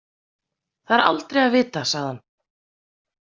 Það er aldrei að vita, sagði hann.